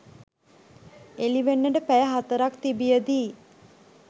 එළිවෙන්නට පැය හතරක් තිබියදී